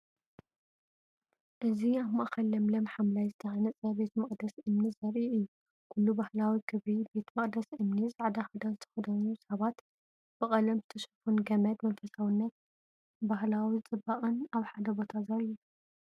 እዚ ኣብ ማእከል ለምለም ሓምላይ ዝተሃንጸ ቤተ መቕደስ እምኒ ዘርኢ እዩ። ኩሉ ባህላዊ ክብሪ! ቤተ መቕደስ እምኒ፡ ጻዕዳ ክዳን ዝተኸድኑ ሰባት፡ ብቐለም ዝተሸፈኑ ገመድ። መንፈሳውነትን ባህላዊ ጽባቐን ኣብ ሓደ ቦታ ዘርኢ እዩ።